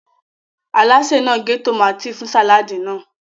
Alásè náà ń gé tòmátì fún sàláàdì náà.